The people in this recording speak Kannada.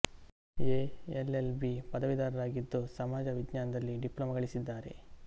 ಎ ಎಲ್ ಎಲ್ ಬಿ ಪದವೀಧರರಾಗಿದ್ದು ಸಮಾಜ ವಿಜ್ಞಾನದಲ್ಲಿ ಡಿಪ್ಲೊಮ ಗಳಿಸಿದ್ದಾರೆ